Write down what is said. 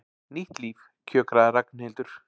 Nýtt líf, kjökraði Ragnhildur.